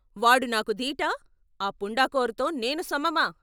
వాడు నాకు దీటా ఆ పుండా కోర్తో నేను సమమా?